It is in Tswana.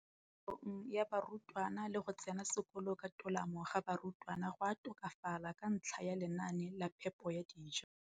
kolong ga barutwana le go tsena sekolo ka tolamo ga barutwana go a tokafala ka ntlha ya lenaane la phepo ya dijo.